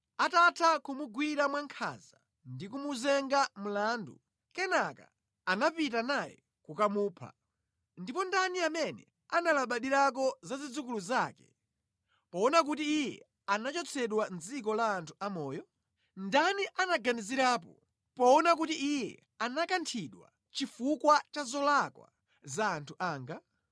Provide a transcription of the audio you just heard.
Atatha kumugwira mwankhanza ndikumuyimba mlandu, kenaka anapita naye kukamupha. Ndipo ndani amene analabadirako za zidzukulu zake, poona kuti iye anachotsedwa mʼdziko la anthu amoyo? Ndani anaganizirapo poona kuti iye anakanthidwa chifukwa cha zolakwa za anthu anga?